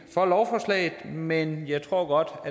for lovforslaget men jeg tror